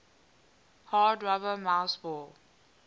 hard rubber mouseball